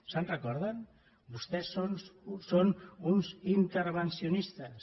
se’n recorden vostès són uns intervencionistes